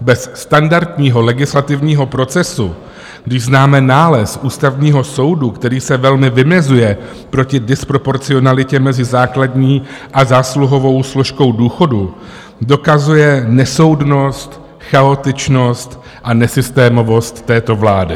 bez standardního legislativního procesu, když známe nález Ústavního soudu, který se velmi vymezuje proti disproporcionalitě mezi základní a zásluhovou složkou důchodu, dokazuje nesoudnost, chaotičnost a nesystémovost této vlády.